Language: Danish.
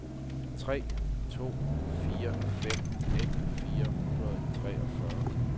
tre to fire fem nitten fire hundrede og treogfyrre